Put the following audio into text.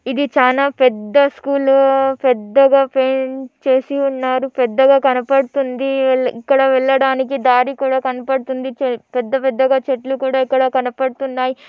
ఇది చానా పెద్ద స్కూల్ పెద్దగా పెంచేసి ఉన్నారు పెద్దగ కనపడుతుంది ఇక్కడ వెళ్లడానికి దారి కూడా కనపడుతుంది పెద్ద పెద్ద చెట్లు కూడా కనపడుతున్నాయి.